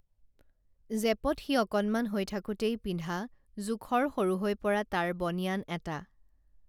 জেপত সি অকণমান হৈ থাকোতেই পিন্ধা জোখৰ সৰু হৈ পৰা তাৰ বনিয়ান এটা